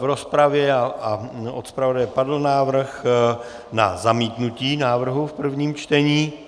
V rozpravě a od zpravodaje padl návrh na zamítnutí návrhu v prvním čtení.